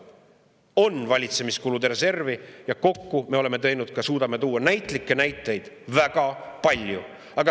On valitsemiskulude reservi ja me suudame tuua näitlikke näiteid väga palju.